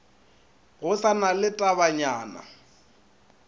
go sa na le tabanyana